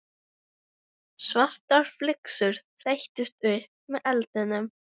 Svartar flygsur þeyttust upp með eldinum.